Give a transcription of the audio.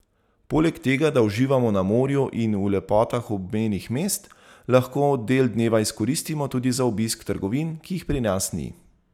Poleg tega, da uživamo na morju in v lepotah obmejnih mest, lahko del dneva izkoristimo tudi za obisk trgovin, ki jih pri nas ni.